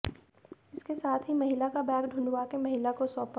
इसके साथ ही महिला का बैग ढूंढ़वाकर महिला को सौंपा